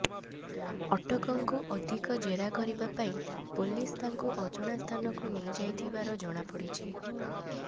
ଅଟକଙ୍କୁ ଅଧିକ ଜେରା କରିବା ପାଇଁ ପୋଲିସ ତାଙ୍କୁ ଅଜଣା ସ୍ଥାନକୁ ନେଇଯାଇଥିବାର ଜଣାପଡିଛି